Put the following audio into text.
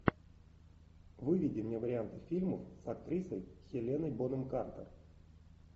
выведи мне варианты фильмов с актрисой хеленой бонем картер